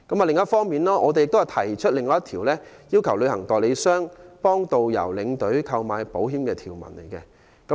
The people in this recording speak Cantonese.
另一方面，我提出另一項修正案，要求旅行代理商為導遊、領隊購買保險。